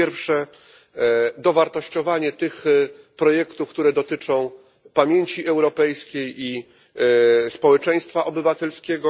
Po pierwsze, dowartościowanie tych projektów, które dotyczą pamięci europejskiej i społeczeństwa obywatelskiego.